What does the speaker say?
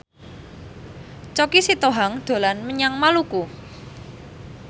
Choky Sitohang dolan menyang Maluku